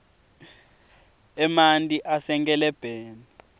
emanti asenkelebheni